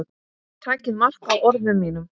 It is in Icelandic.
Takið mark á orðum mínum.